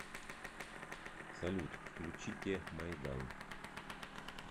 салют включите майдан